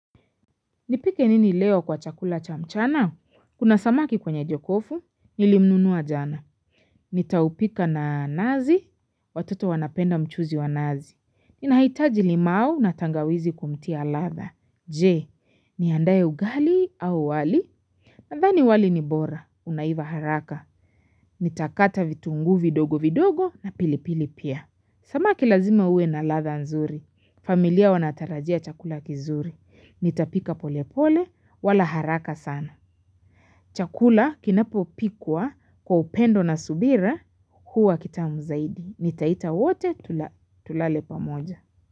Nipike nini leo kwa chakula cha mchana? Kuna samaki kwenye jokofu, nilimnunua jana. Nitaupika na nazi, watoto wanapenda mchuzi wa nazi. Ninahitaji limau na tangawizi kumtia latha. Je, niandae ugali au wali? Nadhani wali ni bora, unaiva haraka. Nitakata vitunguu vidogo vidogo na pilipili pia. Samaki lazima uwe na ladha nzuri. Familia wanatarajia chakula kizuri. Nitapika pole pole wala haraka sana. Chakula kinapopikwa kwa upendo na subira huwa kitamu zaidi. Nitaita wote tulale pamoja.